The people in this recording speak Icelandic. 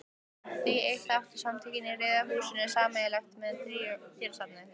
Því eitt áttu Samtökin í Rauða húsinu sameiginlegt með dýrasafni